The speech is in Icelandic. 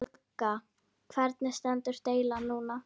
Helga: Hvernig stendur deilan núna?